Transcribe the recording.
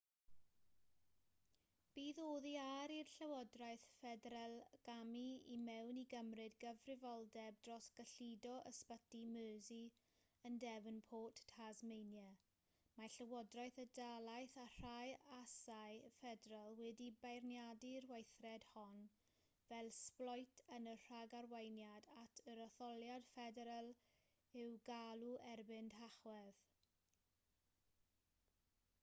byth oddi ar i'r llywodraeth ffederal gamu i mewn i gymryd cyfrifoldeb dros gyllido ysbyty mersey yn devonport tasmania mae llywodraeth y dalaith a rhai asau ffederal wedi beirniadu'r weithred hon fel sbloet yn y rhagarweiniad at yr etholiad ffederal i'w galw erbyn tachwedd